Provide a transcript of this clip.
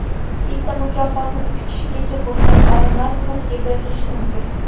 Bitta mukofotni uch kishigacha bo‘lgan olimlar guruhiga berilishi mumkin.